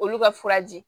Olu ka furaji